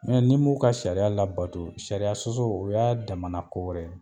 ni m'u ka sariya labato, sariya sɔsɔ o y'a damana ko wɛrɛ ye.